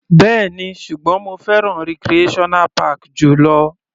Bẹ́ẹ̀ni, ṣùgbọ́n mo fẹ́ràn recreational park jù lọ.